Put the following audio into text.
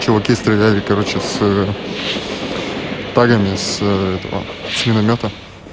чуваки стреляли короче с тагами с этого с миномёта